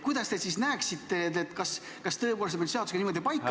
Kuidas te siis näete, kas tõepoolest on meil seadusega paika pandud ...